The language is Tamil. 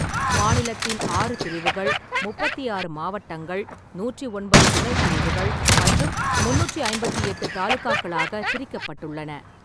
மாநிலத்தின் ஆறு பிரிவுகள் முப்பத்தி ஆறு மாவட்டங்கள், நூற்றி ஒன்பது துணை பிரிவுகள் மற்றும் முந்நூற்றி ஐம்பத்தெட்டு தாலுகாக்களாகப் பிரிக்கப்பட்டுள்ளன.